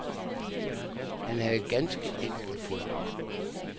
Han havde ganske enkelt fået nok.